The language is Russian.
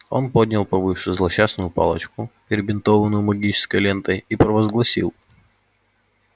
он поднял повыше злосчастную палочку перебинтованную магической лентой и провозгласил